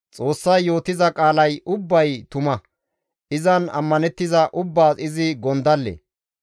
«Xoossay yootiza qaalay ubbay tuma; Izan ammanettiza ubbaas izi gondalle.